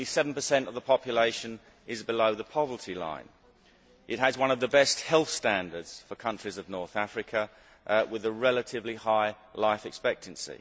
Only 7 of the population lives below the poverty line. It has one of the best health standards among countries in North Africa, with a relatively high life expectancy.